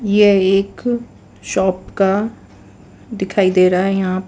यह एक शॉप का दिखाई दे रहा है यहां प --